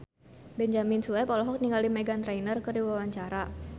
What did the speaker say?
Benyamin Sueb olohok ningali Meghan Trainor keur diwawancara